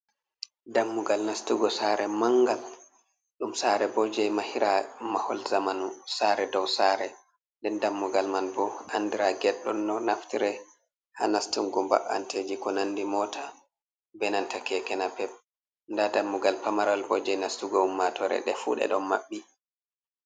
Dammugal nastugo sare mangal, ɗum sare bo jei mahira mahol zamanu, sare dow sare, nden dammugal man bo andra get don naftre ha nastungu ba anteji ko nandira mota be nanta keke napep, nda dammugal pamarwal bo jei nastugo ummatore ndefu nde don maɓɓi.